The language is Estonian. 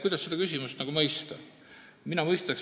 Kuidas seda küsimust mõista?